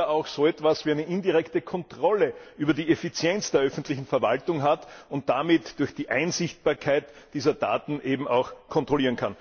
auch so etwas wie eine indirekte Kontrolle über die Effizienz der öffentlichen Verwaltung hat und damit durch die Einsichtbarkeit dieser Daten auch kontrollieren kann.